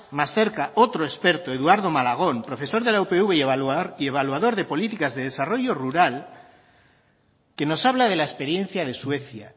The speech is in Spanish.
más cerca otro experto eduardo malagón profesor de la upv y evaluador de políticas de desarrollo rural que nos habla de la experiencia de suecia